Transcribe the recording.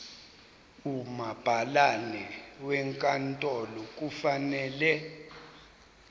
umabhalane wenkantolo kufanele